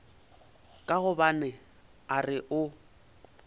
ka gobane a re o